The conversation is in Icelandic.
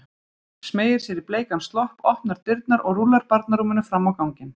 Smeygir sér í bleikan slopp, opnar dyrnar og rúllar barnarúminu fram á ganginn.